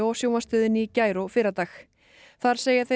sjónvarpsstöðinni í gær og fyrradag þar segja þeir